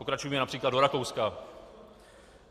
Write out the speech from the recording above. Pokračujme například do Rakouska.